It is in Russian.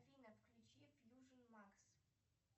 афина включи фьюжен макс